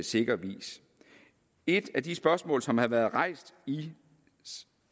sikker vis et af de spørgsmål som har været rejst i